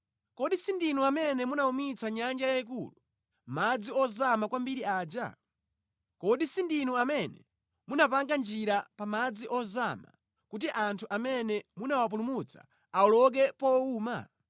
Kodi sindinu amene munawumitsa nyanja yayikulu, madzi ozama kwambiri aja? Kodi sindinu amene munapanga njira pa madzi ozama, kuti anthu amene munawapulumutsa awoloke powuma?